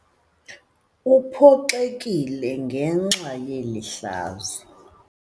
Uphoxekile ngenxa yeli hlazo.